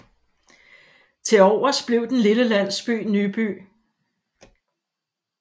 Til overs blev den lille landsby Nyby